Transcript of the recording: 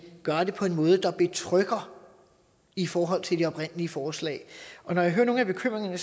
gøre det på en måde der betrygger i forhold til det oprindelige forslag når jeg hører nogle af bekymringerne